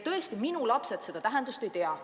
Tõesti, minu lapsed seda tähendust ei tea.